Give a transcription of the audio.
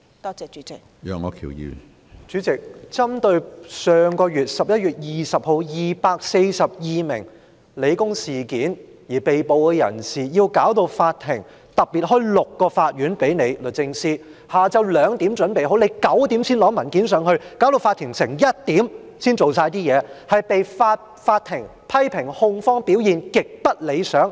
主席，就11月20日香港理工大學事件，有242名被捕人士，法庭特別為此開了6個法院，下午2時已準備好，但律政司在晚上9時才提交文件，導致法庭在凌晨1時才完成工作，控方被法庭批評表現極不理想。